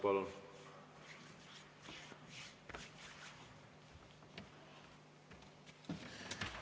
Palun!